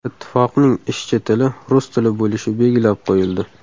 Ittifoqning ishchi tili rus tili bo‘lishi belgilab qo‘yildi.